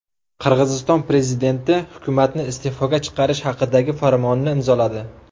Qirg‘iziston prezidenti hukumatni iste’foga chiqarish haqidagi farmonni imzoladi.